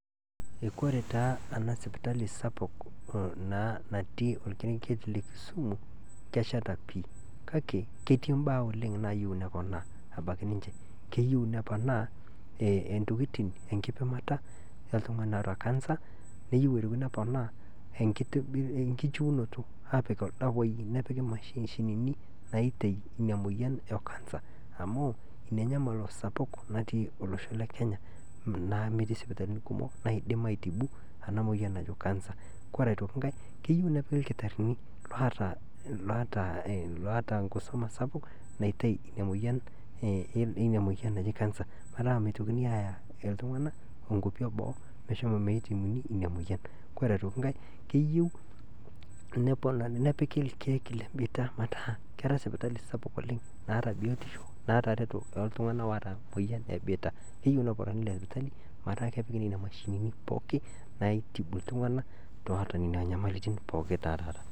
Kore taa ena sipitali kumok na natii orkerenget le kisumu kesheta pii kake ketii imbaa oleng naayieu neponaa abaki ninche, keyeu nepanaa entokitin enkidimata eltungani oota cancer neyeu otoki neponaa enkichiunoto aaapik irdawai nepiki imashinini naitei ina imoyian e cancer amuu ninye enyamal sapuk natii olosho le kenya naa metii sipatalini kumok naidim aitibu ana moyan naji cancer, kore aitoki ikae keyeu nepiki lkitarini loata inkisuma sapuk naitei ina moyian naji cancer metaa meitokini aaya iltunganak inkopi eboo meshomo meitibuni ina moyian .Kore otoki inkae keyeu neponari nepiki irkeek le biita metaa kera sipitali sapuk oleng naata biotisho naata ereto oltungana oota imoyian ebiita, neyeu neponari ina sipitali metaa kepiki nenia mshini pookin naitibu iltunganak oota nena imoyiarritin popkin te haraka.